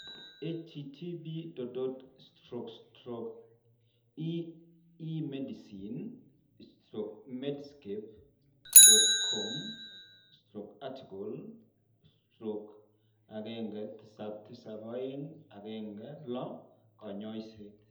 http://emedicine.medscape.com/article/177216 kanyaiset